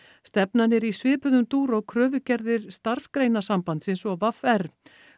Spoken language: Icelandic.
stefnan er í svipuðum dúr og kröfugerðir Starfsgreinasambandsins og v r